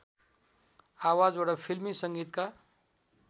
आवाजबाट फिल्मी सङ्गीतका